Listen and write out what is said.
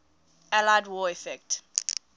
allied war effort